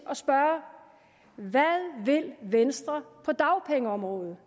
at spørge hvad vil venstre på dagpengeområdet